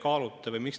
Head rahvasaadikud!